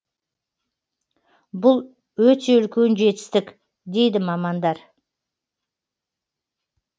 бұл өте үлкен жетістік дейді мамандар